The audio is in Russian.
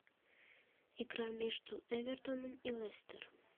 игра между эвертоном и лестер